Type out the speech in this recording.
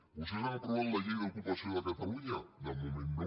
vostès han aprovat la llei d’ocupació de catalunya de moment no